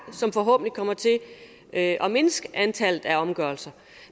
som forhåbentlig kommer til at mindske antallet af omgørelser